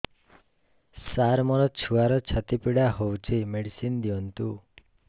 ସାର ମୋର ଛୁଆର ଛାତି ପୀଡା ହଉଚି ମେଡିସିନ ଦିଅନ୍ତୁ